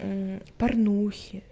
порнухи